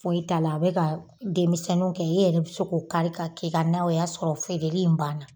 Foyi t'a la a be ka denmisɛnnuw kɛ e yɛrɛ be se k'o kari k'a k'i ka naw ye o b'a sɔrɔ feereli in baana